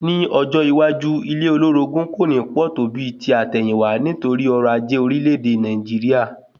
Ní ọjọ́ iwájú, ilé olórogún kò ní pọ̀ tó bíi ti àtẹ̀yìnwá, nítorí ọrọ̀ ajé orílẹ̀ èdè Nàìjíríà